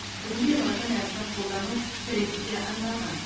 бүгінде латын әрпін қолдану трендке айналған